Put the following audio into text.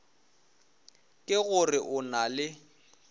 ke gore o na le